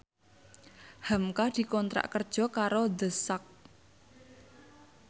hamka dikontrak kerja karo The Sak